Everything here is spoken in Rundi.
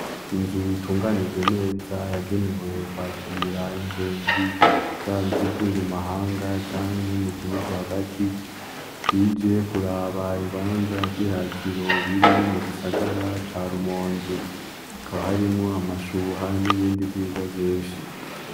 Inzu itunganije neza yagenewe kwakira ingenzi yaba izivuye mumahanga canke mugihugu hagati zije kuraba ibibanza vy'iratiro biri mugisagara ca Rumonge. Hakaba harimwo amashuha hamwe n'ibindi vyiza vyishi.